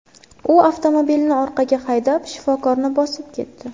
U avtomobilni orqaga haydab, shifokorni bosib ketdi.